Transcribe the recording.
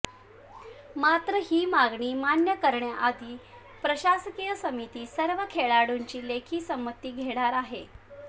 मात्र ही मागणी मान्य करण्याआधी प्रशासकीय समिती सर्व खेळाडूंची लेखी संमती घेणार आहे